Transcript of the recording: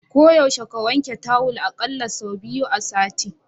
Ko yaushe ka wanke tawal a ƙalla sau biyu a sati.